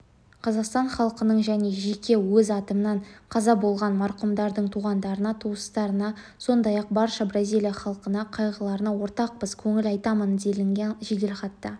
қазақстан халқының және жеке өз атымнан қаза болған марқұмдардың туғандарына туыстарына сондай-ақ барша бразилия халқына қайғыларына ортақтасып көңіл айтамын делінген жеделхатта